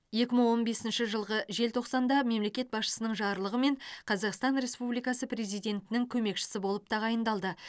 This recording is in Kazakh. екі мың он бесінші жылғы желтоқсанда мемлекет басшысының жарлығымен қазақстан республикасы президентінің көмекшісі болып тағайындалды